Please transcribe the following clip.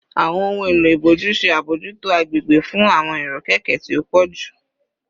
Awọn ohun elo iboju ṣe abojuto agbegbe fun awọn irokeke ti o pọju